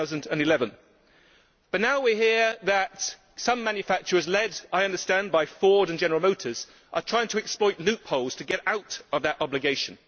2011. But now we hear that some manufacturers led, I understand, by Ford and General Motors are trying to exploit loopholes to get out of that obligation.